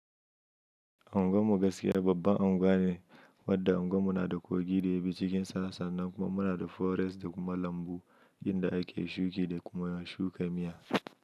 Anguwan mu gaskiya babban anguwa ne wadda unguwan mu na da kogi da ya bi cikin sa nan kuma muna da forest da kuma lambu inda ake shuki da kuma na shuka miya.